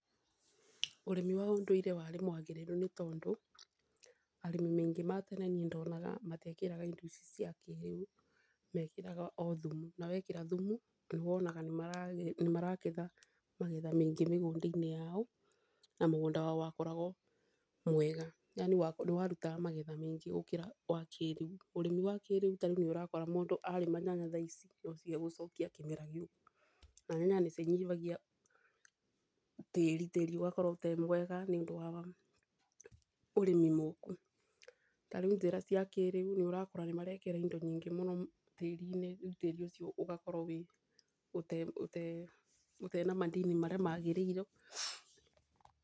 Ũrĩmi wa ũndũire wari mwagĩrĩru nĩtondũ, arĩmi maingĩ ma tene ndonaga matĩekĩraga indo ici cia kĩrĩũ mekĩraga othumu, na wekĩra thumu, nĩwonaga nĩmaraketha magetha maingĩ mĩgũndainĩ yao na mũgũnda wao wakoragwo mwega yaani nĩwarutaga magetha maingĩ gũkĩra wakĩrĩũ ,ũrĩmi wa kĩrĩũ tarĩu nĩũrakora mũndũ arĩma nyanya thaa ici nocio egũcokia kĩmera gĩũku, na nyanya nĩcinyihagia tĩri, tĩri ũgakorwo ũtemwega nĩũndũ waũrĩmi mũku, tarĩũ njĩra cia kĩrĩũ, nĩũrakora nĩmarekĩra indo nyingĩ mũno tĩrinĩ, tĩri ũcio ũgakora ũtena madini marĩa magĩrĩirwo.